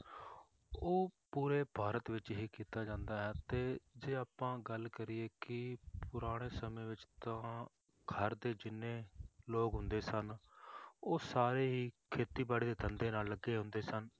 ਉਹ ਪੂਰੇ ਭਾਰਤ ਵਿੱਚ ਹੀ ਕੀਤਾ ਜਾਂਦਾ ਹੈ ਤੇ ਜੇ ਆਪਾਂ ਗੱਲ ਕਰੀਏ ਕਿ ਪੁਰਾਣੇ ਸਮੇਂ ਵਿੱਚ ਤਾਂ ਘਰ ਦੇ ਜਿੰਨੇ ਲੋਕ ਹੁੰਦੇ ਸਨ ਉਹ ਸਾਰੇ ਹੀ ਖੇਤੀਬਾੜੀ ਦੇ ਧੰਦੇ ਨਾਲ ਲੱਗੇ ਹੁੰਦੇ ਸਨ,